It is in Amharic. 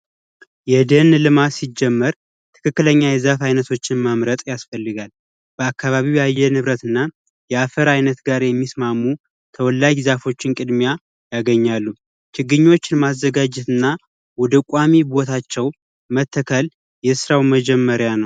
የደን ልማት ሲጀመር ትክክለኛ የዛፍ አይነቶችን ማምረት ያስፈልጋል ከአካባቢው የአየር ንብረትና የአፈር አይነት ጋር የሚስማሙ ተወላጅ ዛፎችን ቅድሚያ ያገኛሉ ቅድሚያ ማዘጋጀትና ወደ ቋሚ ቦታቸው መትከል መጀመሪያ ነው ።